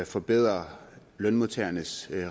forbedrer lønmodtagernes